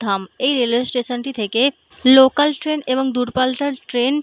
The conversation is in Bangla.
ধাম এই রেলওয়ে স্টেশন -টি থেকে লোকাল ট্রেন এবং দুর পাল্লার ট্রেন --